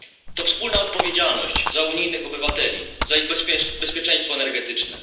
To wspólna odpowiedzialność za unijnych obywateli, za ich bezpieczeństwo energetyczne.